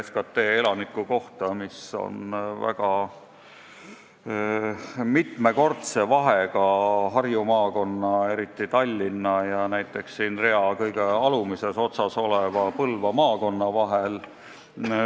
SKT elaniku kohta on Harju maakonnas, eriti Tallinnas mitu korda suurem kui rea kõige alumises otsas olevas Põlva maakonnas.